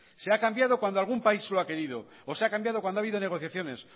se ha cambiado cuando algún país lo ha querido o se ha cambiado cuando ha habido negociaciones